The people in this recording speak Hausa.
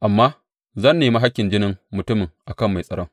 amma zan nemi hakkin jinin mutumin a kan mai tsaron.’